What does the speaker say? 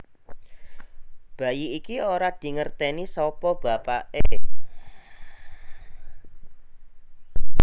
Bayi iki ora dingerteni sapa bapaké